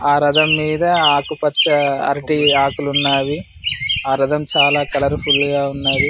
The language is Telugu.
ఆ రధం మీద ఆకుపచ్చ అరటి ఆకులు ఉన్నవి ఆ రధం చాలా కలర్ ఫుల్ గా ఉన్నది.